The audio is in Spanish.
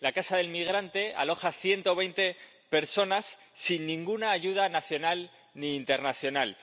La Casa del Migrante aloja a 120 personas sin ninguna ayuda nacional ni internacional.